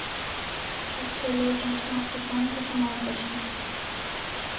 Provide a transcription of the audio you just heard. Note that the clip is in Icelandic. Saxið laukinn smátt og blandið saman við fiskinn.